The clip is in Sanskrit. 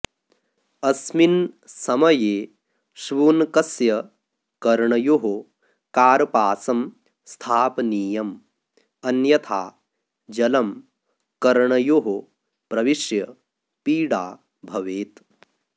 अस्मिन् समये श्वुनकस्य कर्णयोः कार्पासं स्थापनीयम् अन्यथा जलं कर्णयोः प्रविश्य पीडाभवेत्